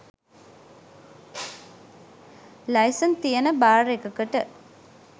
licence තියෙන bar එකකට